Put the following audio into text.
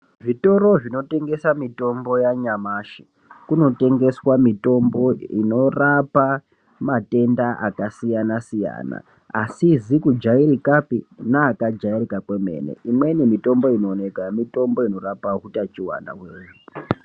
Zvitoro zvinotengese mitombo yanyamashi kunotengeswa mitombo inorapa matenda akasiyanasiyana asizi kujairikapi neakajairika kwemene imweni mitombo inooneka mitombo inorapa utachiwana.